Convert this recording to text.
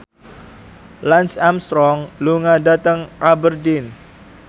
Lance Armstrong lunga dhateng Aberdeen